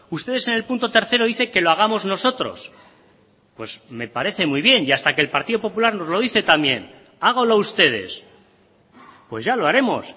ustedes en el punto tres dicen que lo hagamos nosotros pues me parece muy bien y hasta que el partido popular nos lo dice también háganlo ustedes pues ya lo haremos